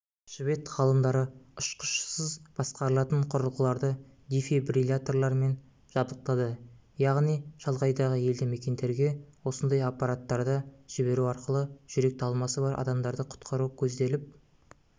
швед ғалымдары ұшқышсыз басқарылатын құрылғыларды дефибрилляторлармен жабдықтады яғни шалғайдағы елді мекендерге осындай аппараттарды жіберу арқылы жүрек талмасы бар адамдарды құтқару көзделіп